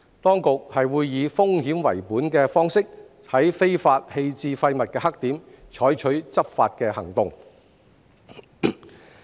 當局會以風險為本的方式，在非法棄置廢物的黑點採取執法行動。